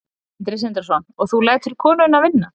Sindri Sindrason: og þú lætur konuna vinna?